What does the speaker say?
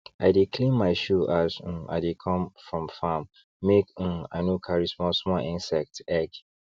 i dey clean my shoe as um i dey come from farm make um i no carry small small insect egg